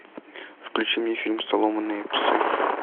включи мне фильм сломанные псы